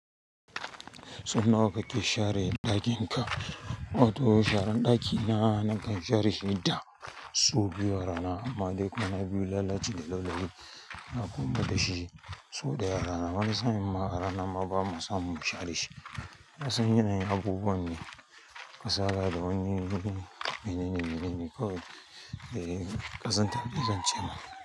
So nawa kake share ɗakin ka? Wato sharan ɗaki na, nakan share shi da sau biyu a rana amma dai kwana biyu na lallace da laulayi na komar dashi sau ɗaya a rana. Wani sa'in ma a rana ma bamu samu mu share shi. Ka san yanayin abubuwan ne kasala da wani menene menene kawai. Eh, ƙazanta ne zan ce ma.